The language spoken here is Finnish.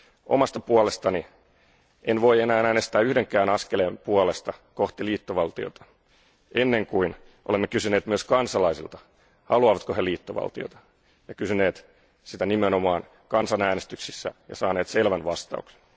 Omasta puolestani en voi enää äänestää yhdenkään askeleen puolesta kohti liittovaltiota ennen kuin olemme kysyneet myös kansalaisilta, haluavatko he liittovaltiota, ja kysyneet sitä nimenomaan kansanäänestyksissä ja saaneet selvän vastauksen.